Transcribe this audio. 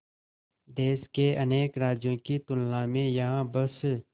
देश के अनेक राज्यों की तुलना में यहाँ बस